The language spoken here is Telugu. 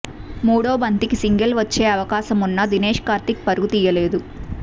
మూడో బంతికి సింగిల్ వచ్చే అవకాశమున్నా దినేష్ కార్తిక్ పరుగు తీయలేదు